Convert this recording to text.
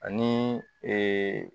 Ani